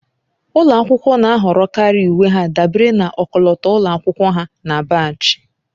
Ụlọ akwụkwọ na-ahọrọkarị uwe ha dabere na ọkọlọtọ ụlọ akwụkwọ ha na baajị